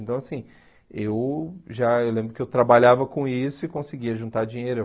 Então, assim, eu já eu lembro que eu trabalhava com isso e conseguia juntar dinheiro.